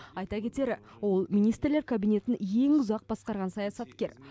айта кетері ол министрлер кабинетін ең ұзақ басқарған саясаткер